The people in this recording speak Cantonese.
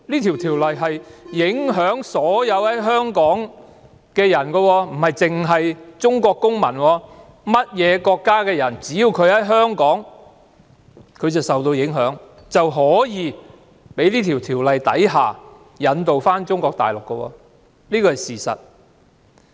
《條例草案》影響所有在香港的人，不單影響中國公民，而是所有國家在香港的人民也有機會因《條例草案》被引渡到中國大陸，這是事實。